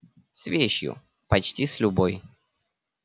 с вещью почти с любой